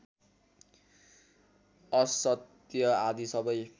असत्य आदि सबै